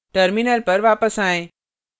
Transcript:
terminal पर वापस आएँ